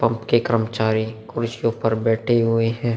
Pump के कर्मचारी कुर्सियों पे बैठे हुए हैं।